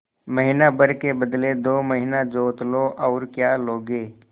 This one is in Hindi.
महीना भर के बदले दो महीना जोत लो और क्या लोगे